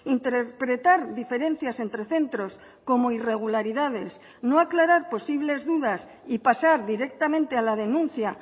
interpretar diferencias entre centros como irregularidades no aclarar posibles dudas y pasar directamente a la denuncia